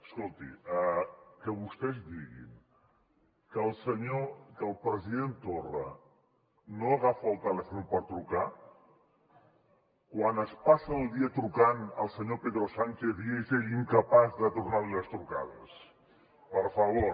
escolti que vostès diguin que el senyor que el president torra no agafa el telèfon per trucar quan es passa el dia trucant al senyor pedro sánchez i és ell incapaç de tornar li les trucades per favor